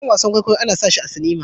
Sabon wasan kwaikwayo ana sashi a cinima